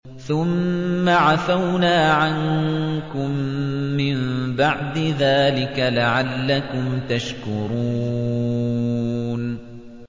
ثُمَّ عَفَوْنَا عَنكُم مِّن بَعْدِ ذَٰلِكَ لَعَلَّكُمْ تَشْكُرُونَ